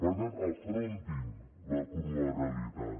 per tant afrontin la crua realitat